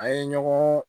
A ye ɲɔgɔn